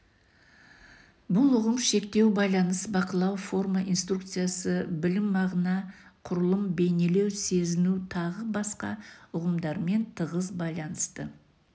бұл ұғым шектеу байланыс бақылау форма инструкция білм мағына құрылым бейнелеу сезіну тағы басқа ұғымдармен тығыз байланысты